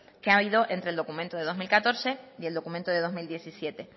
que ha habido entre el documento de dos mil catorce y el documento de dos mil diecisiete